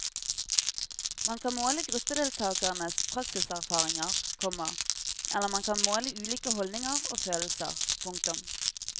Man kan måle gruppedeltakernes praksiserfaringer, komma eller man kan måle ulike holdninger og følelser. punktum